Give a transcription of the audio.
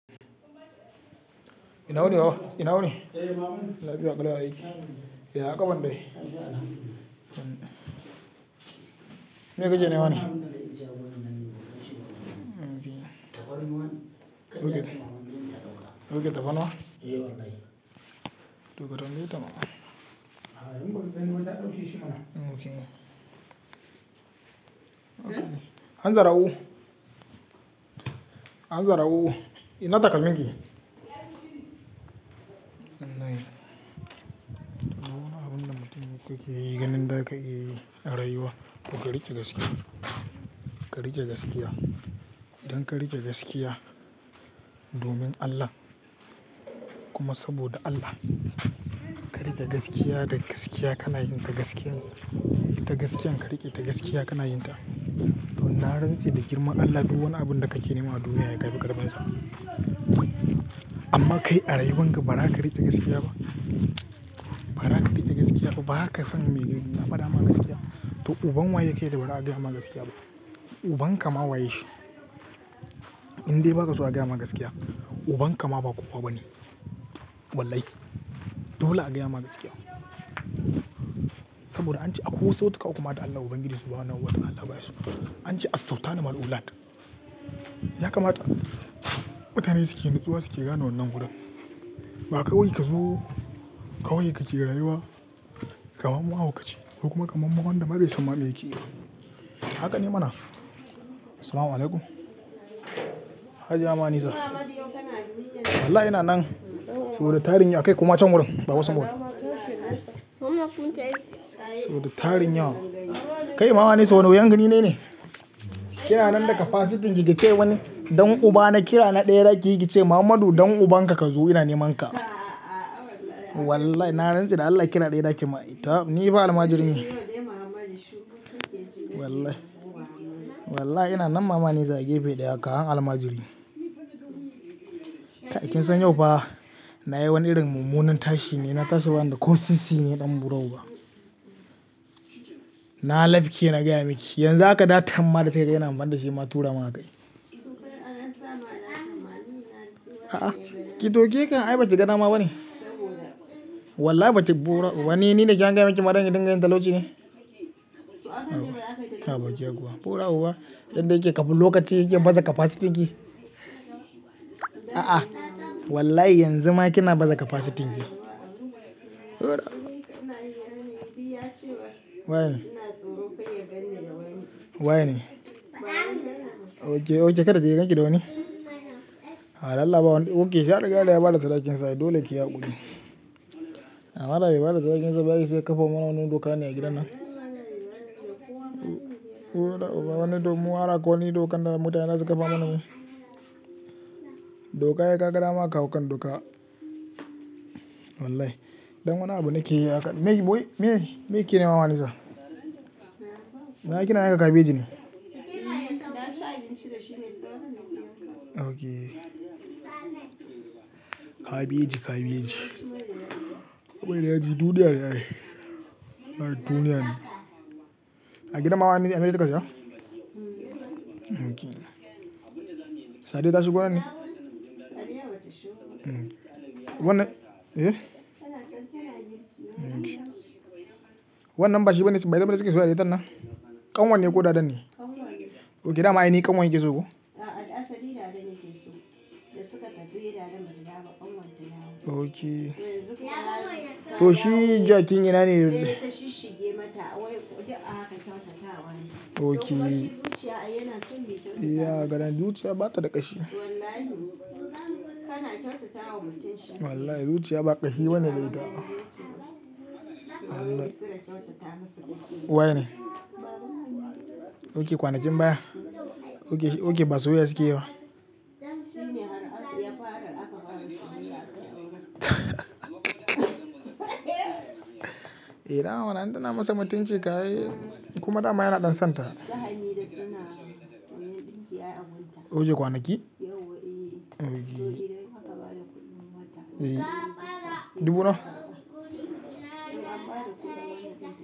Ina wuni baba, ina wuni? Eh mama. Lafi ya ƙalau ya aiki. Yaya ƙafan dai? Me ka ke nema ne? Ok. Ok tafarnawa? Eh wlh. To ka tambayeta mana. An zarau. Ok. Han zara'u. Han zara'u ina takalminki? Dole a bin da mutum kuke yi ganin da aka iya yi a rayuwa to kari ƙe gaskiya. Ka riƙe gaskiya. Don ka riƙe gaskiya domin Allah kuma saboda Allah. Ka riƙe gaskiya da gaskiya kanayi ta gaskiyan ta gaskiyan ka riƙe ta gaskiya kanayin ta. Don na ratse da girman Allah duk wani abun da kake nema a duniya sai kafi ƙarfin sa. Amma kai a rayuwan ka bara ka riƙe gaskiya ba, bara ka riƙe gaskiya ba ba ka san me faɗa ma gaskiya. To uban wa yaye kai da bara a gaya ma gaskiya ba? Uban ka ma wa yashi. In dai ba ka so a gaya ma gaskiya uban ka ma ba kuwa ba ne. Wallahi dole a gaya ma gaskiya. Saboda an ce akwai wasu ta ka uku ma da Allah ubangiji subuhanahu wata'ala Allah baya su. An ce a sau ta na ma'uulat. Ya kamata mutane suke nutsuwa suke gano wannan gurin. Ba kawai ka zo kawai ka je rayuwa kamar mahaukaci ko kuma kamar wanda bai san ma me yake yi ba. Haka ne mana? Assalamualaikum Hajiya Manisa. Wallahi ina nan. So da tarin yawa kai kuma can wurin ba baba small So da tarin yawa. Kai mama anisa wane wuyan gani ne ne? Ki na nan daga capacityn ki ki ka ce wani don uba na kira na ɗaya da kike yi ki ce Mahammadu dan uban ka ka zo ina niman ka. Wallahi na ratse da Allah kira ɗaya za ki man. Ni ba almajirin yi. Wallahi. Wallahi ina nan mama anisa gefe ɗaya ka han almajiri. Kai kin san yau ba na yi wani irin mummunan tashi ne na tashi banda kosi si ne ɗan burau ba. Na lafke na gaya miki. Yanzu haka da tamma da ta kai yana man da shi ma tura maka yi. A'a, ki toke kai ai bace gana ma bane? Wallahi baki burau. Wane ne ne kyan gaya miki maran ki dinga yin talauci ne? Taba je kuwa. Burau ba. Yadda yake kafin lokaci yake baze capacityn ki? A'a, wallahi yanzu ma kina baze capacityn ki. Hura. Wa yene? Wa ne? Ok, ok kada ya ganki da wani? A Allah ba wanda. Ok shi ya rigada ya bada sadakin sa dai dole ya kiyi haƙuri. Amma dai bai bada sadakin sa ba ya isa ya kafa mana wani doka ne a gidan nan. Wani dommuwa aka yi dokan da mutane za su ƙafa mana wani doka ya ƙaƙarama kawu kan doka. Wallahi. Don wane abu nake yi hakan? Me, me, me kine mama Nisa? Na ki na yanka kabeji ne? Ok. Kabeji, kabeji. Mai da yaji, duniya ne ai. Wallahi duniya ne. A gidan mama Nisa kika siya? Ok. Sadiya tashigo nan ne? Wannan, eh? Wannan bashi banebayin wan suke soyayya da itannan? Kanwar ne ko dadanne? Ok dama ainihi kanwar ke so kuwa? Ok. To shi jakin ina ne yanzu. Ok. Iya, gadon zuciya bata da ƙashi. Wallahi zuciya ba ƙashi bane da ita. Wallahi. Wa ne? Ok kwanakin baya. Ok, ok ba soyayya sukeyi ba. Eh dama mana in tana masa mutunci ka aii kuma dama yana ɗan santa. Ok kwanaki? Ok. Eh. Dubu nawa?